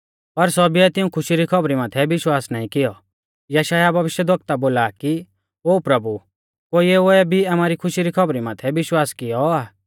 पर सौभीऐ तिऐं खुशी री खौबरी माथै विश्वास नाईं कियौ यशायाह भविष्यवक्ता बोला आ कि ओ प्रभु कुणीऐ भी आमारी खुशी री खौबरी माथै विश्वास कियौ आ